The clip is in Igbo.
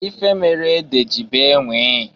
Ife meelu ede oji bee nwịịị.